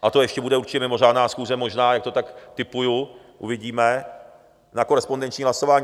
A to ještě bude určitě mimořádná schůze, možná, jak to tak tipuji, uvidíme, na korespondenční hlasování.